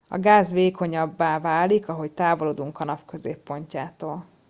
a gáz vékonyabbá válik ahogy távolodunk a nap középpontjától